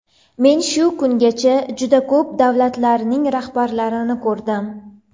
Men shu kungacha juda ko‘p davlatlarning rahbarlarini ko‘rdim.